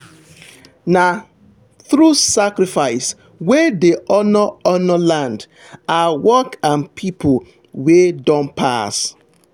na through sacrifice we dey honour honour land our work and people wey don pass.